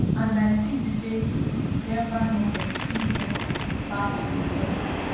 and i tink say di denver nuggets fit get back to di top